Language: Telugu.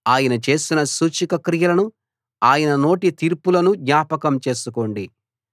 ఆయన చేసిన సూచక క్రియలను ఆయన నోటి తీర్పులను జ్ఞాపకం చేసుకోండి